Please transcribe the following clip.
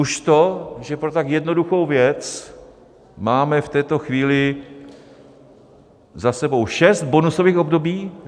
Už to, že pro tak jednoduchou věc máme v této chvíli za sebou šest bonusových období.